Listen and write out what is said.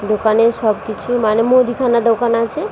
দোকানে সবকিছু মানে মুদিখানার দোকান আছে --